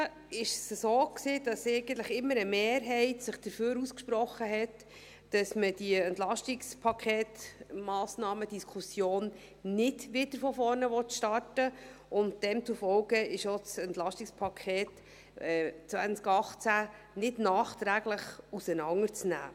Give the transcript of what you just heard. Bis jetzt war es so, dass sich immer eine Mehrheit dafür ausgesprochen hat, dass man mit dieser EP-Massnahmen-Diskussion nicht wieder von vorne beginnen will, und demzufolge ist auch das EP 2018 nicht nachträglich auseinanderzunehmen.